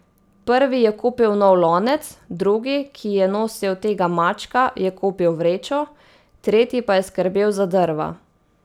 Prvi je kupil nov lonec, drugi, ki je nosil tega mačka, je kupil vrečo, tretji pa je skrbel za drva.